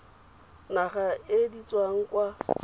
naga e di tswang kwa